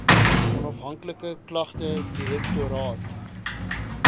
onafhanklike klagte direktoraat